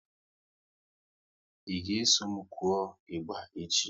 Ị ga eso m kụọ ịgba echi?